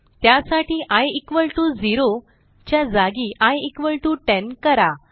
त्यासाठी I equal to 0 च्या जागी आय इक्वॉल टीओ 10 करा